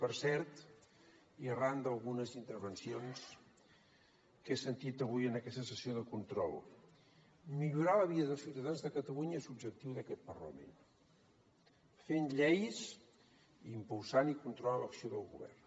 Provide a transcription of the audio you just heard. per cert i arran d’algunes intervencions que he sentit avui en aquesta sessió de control millorar la vida dels ciutadans de catalunya és l’objectiu d’aquest parlament fent lleis i impulsant i controlant l’acció del govern